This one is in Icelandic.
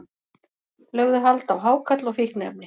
Lögðu hald á hákarl og fíkniefni